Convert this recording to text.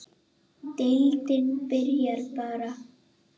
Má deildin byrja bara?